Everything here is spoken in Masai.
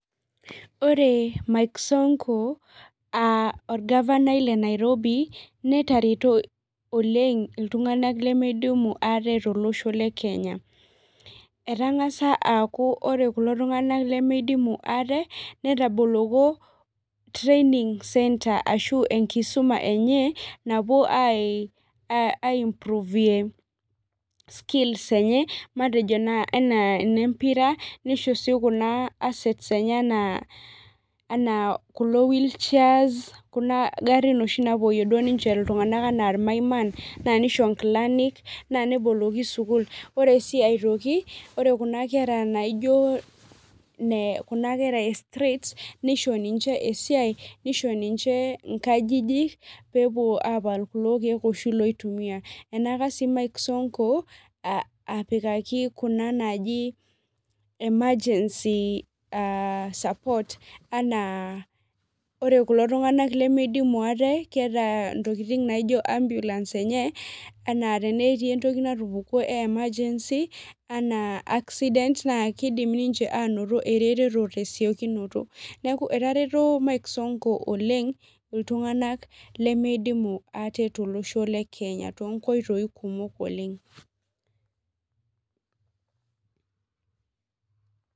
Ore Mike sonko orgavanani le Nairobi netareto oleng iltung'anak lemeidimu ate tolosho le kenya etang'asa aaku ore kulo tung'anak lemeidimu ate netaboloko training center ashuu enkisuma enye napuo airorie skills matejo enaa enempira neishoru sii kuna assets enaa kulo whill chairs kuna garin oshi napuoi iltung'anak enaa irmaiman naa neisho inkilanik naa nemboloki school, ore sii aitoki ore kuna kera naijio kuna kera e streets neisho ninche esiai neisho ninche inkajijik peepuo aapal kulo kiek oshi loitumiya enyaaka sii mike sonko apikaki kuna naaji emergency support aa ore kulo tung'anak lemeidimu ate keeta entoki naijio ambulance enye tenaa keeta entoki natupukuo naijio emergency enaa accident naa keidim ninche aanoto eretoto tesiokinoto neeku etareto Mike sonko oleng iltung'anak lemeidimu ate tolosho le kenya toonkoitoi kumok oleng.